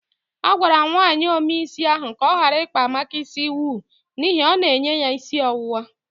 A gwara nwaanyi ome isi ahu ka ọ gara ikpa Amaka isi owu n'ihi ọ na-enye ya isi ọwụwa.